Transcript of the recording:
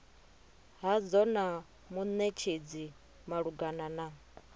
hadzo na munetshedzi malugana na